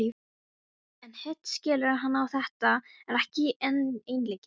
En hitt skilur hann að þetta er ekki einleikið.